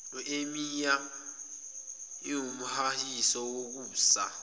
emia iwumhahiso wokusa